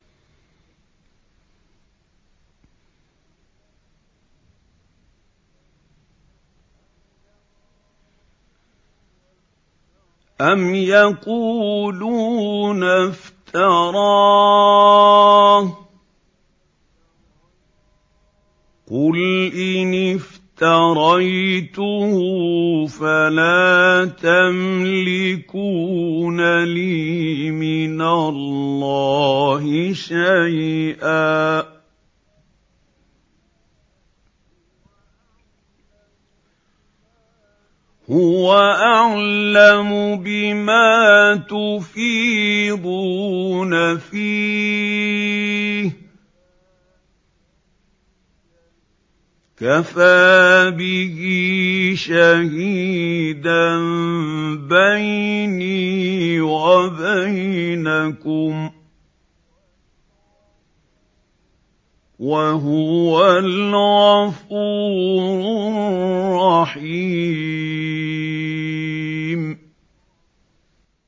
أَمْ يَقُولُونَ افْتَرَاهُ ۖ قُلْ إِنِ افْتَرَيْتُهُ فَلَا تَمْلِكُونَ لِي مِنَ اللَّهِ شَيْئًا ۖ هُوَ أَعْلَمُ بِمَا تُفِيضُونَ فِيهِ ۖ كَفَىٰ بِهِ شَهِيدًا بَيْنِي وَبَيْنَكُمْ ۖ وَهُوَ الْغَفُورُ الرَّحِيمُ